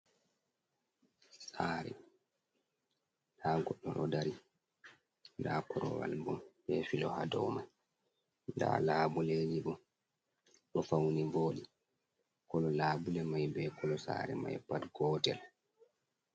Sare nda goɗdo ɗo dari, nda korowal bo be filo ha domai, da labuleji bo ɗo fauni boɗi, kolo labule mai be kolo sare mai pat gootel.